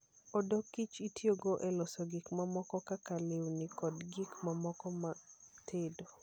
Odok kich itiyogo e loso gik mamoko kaka lewni kod gik mamoko mag tedo.